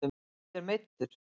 Eruð þér meiddur?